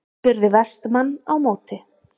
spurði Vestmann á móti.